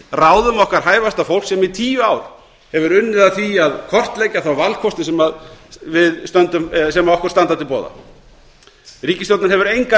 ráðum okkar hæfasta fólks sem í tíu ár hefur unnið að því að kortleggja þá valkosti sem okkur standa til boða ríkisstjórnin hefur engan